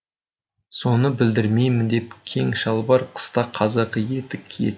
соны білдірмеймін деп кең шалбар қыста қазақы етік киетін